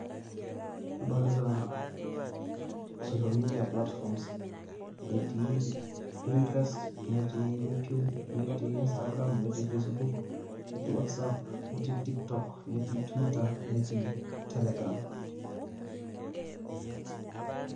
Adolita social media platforms. Etii Pinterest, netii YouTube, netii Instagram, netii Facebook, netii WhatsApp, netii Tiktok, netii Twitter, netii Telegram.